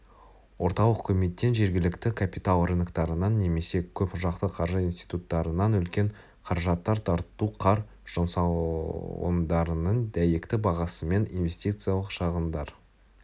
орталық үкіметтен жергілікті капитал рыноктарынан немесе көп жақты қаржы институттарынан үлкен қаражаттар тарту қар жұмсалымдарының дәйекті бағасымен инвестициялық шығындар